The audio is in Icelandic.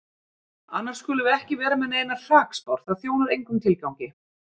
Annars skulum við ekki vera með neinar hrakspár, það þjónar engum tilgangi.